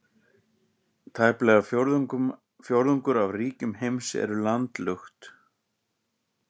Tæplega fjórðungur af ríkjum heims eru landlukt.